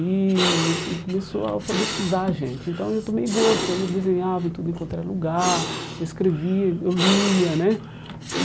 e e começou a alfabetizar a gente, então eu tomei gosto, aí eu desenhava em tudo enquanto era lugar, escrevia, eu lia, né? E